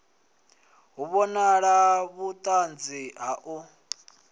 hu vhonali vhuṱanzi ha u